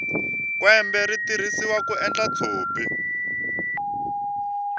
kwembe ri tirhisiwa ku endla tshopi